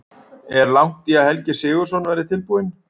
Er langt í að Helgi Sigurðsson verði tilbúinn?